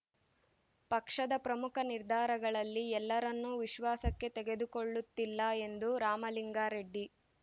ಪಕ್ಷದ ಪ್ರಮುಖ ನಿರ್ಧಾರಗಳಲ್ಲಿ ಎಲ್ಲರನ್ನೂ ವಿಶ್ವಾಸಕ್ಕೆ ತೆಗೆದುಕೊಳ್ಳುತ್ತಿಲ್ಲ ಎಂದು ರಾಮಲಿಂಗಾರೆಡ್ಡಿ